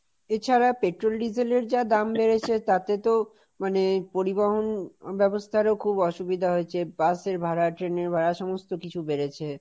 এছাড়া পেট্রোল, ডিজেলের যা দাম বেড়েছে তাতে তো, মানে, পরিবহন ব্যবস্থারও খুব অসুবিধা হয়েছে, বাসের ভাড়া, ট্রেনের ভাড়া, সমস্ত কিছু বেড়েছে।